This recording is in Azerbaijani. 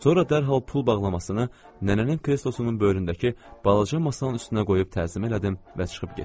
Sonra dərhal pul bağlamasını nənənin kreslosunun böyründəki balaca masanın üstünə qoyub təzim elədim və çıxıb getdim.